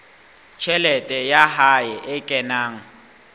tjhelete ya hae e kenang